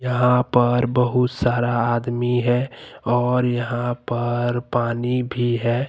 यहां पर बहुत सारा आदमी है और यहां पर पानी भी है।